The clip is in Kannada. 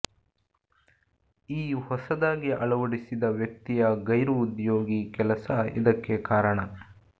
ಈ ಹೊಸದಾಗಿ ಅಳವಡಿಸಿದ ವ್ಯಕ್ತಿಯ ಗೈರು ಉದ್ಯೋಗಿ ಕೆಲಸ ಇದಕ್ಕೆ ಕಾರಣ